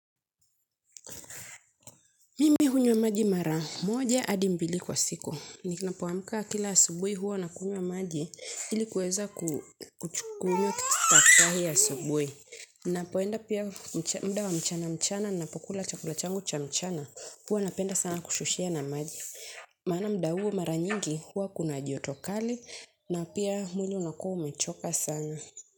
Mimi hunywa maji mara. Moja hadi mbili kwa siku. Ninapoamka kila asubuhi huwa nakunywa maji ili kuweza kukunywa staftahi asubuhi. Napoenda pia muda wa mchana mchana ninapokula chakula changu cha mchana. Huwa napenda sana kushushia na maji. Maana muda huo mara nyingi huwa kuna joto kali na pia mwili unakuwa umechoka sana.